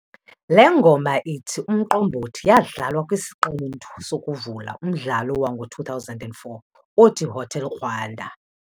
Le ngoma ithi "Umqombothi" yadlalwa kwisiqendu sokuvula umdlalo wango2004 othiHotel Rwanda.